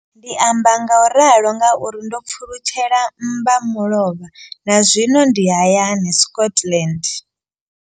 Ndi amba ngauralo nga uri ndo pfulutshela mmba mulovha na zwino ndi hayani, Scotland.